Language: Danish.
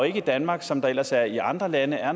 ikke i danmark som der ellers er i andre lande er